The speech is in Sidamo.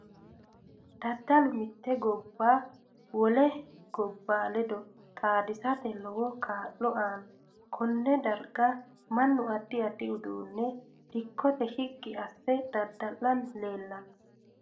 Dadalu mitte gobba wole gobba ledo xaadisate lowo kaa'lo aanno konne darga mannu addi addi uduuncho dikkote shiqqi asse dada'lani leelanno